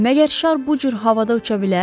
Məgər şar bu cür havada uça bilər?